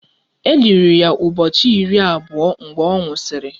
E liri ya ụbọchị iri abụọ mgbe ọ nwụsịrị